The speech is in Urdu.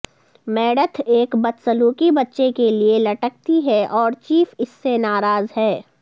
میڈتھ ایک بدسلوکی بچے کے لئے لٹکتی ہے اور چیف اس سے ناراض ہے